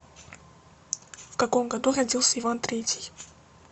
в каком году родился иван третий